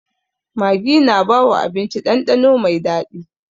Maggi na bawa abinci dandano mai daɗi.